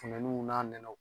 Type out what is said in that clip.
Funteniw n'a nɛnɛw